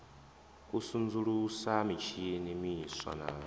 u sudzulusa mitshini miswa na